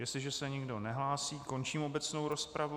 Jestliže se nikdo nehlásí, končím obecnou rozpravu.